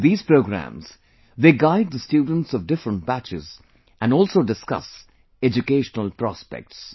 In these programmes, they guide the students of different batches and also discuss educational prospects